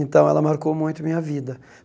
Então, ela marcou muito a minha vida.